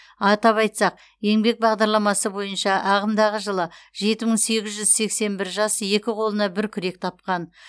атап айтсақ еңбек бағдарламасы бойынша ағымдағы жылы жеті мығ сегіз жүз сексен бір жас екі қолына бір күрек тапқан